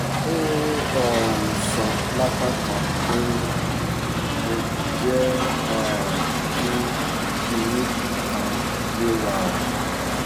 ó um sọ lápá kan pé ẹ jẹ́ um kí kinní kan yé wa o